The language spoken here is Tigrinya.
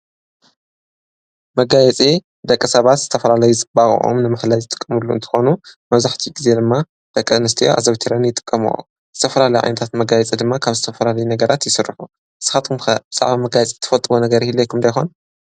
መጋየፂ ደቂ ሰባት ዝተፈላለዩ ፅባቐኦም ንምፍላይ ዝጥቅምሎም እንትኾኑ መብዛሕትኡ ጊዜ ድማ ደቂ ኣንስትዮ ኣዘውቲረን ይጥቀመአ፡፡ ዝተፈላላዩ ዓይነታት መጋየፂ ድማ ካብ ዝተፈላለዩ ነገራት ይስርሑ፡፡ ንስኻትኩም ከ ብዛዕባ መጋየፂ ትፈልጥዎ ነገር ይህልወኩም ዶ ይኾን